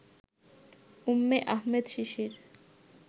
Umme Ahmed Shishir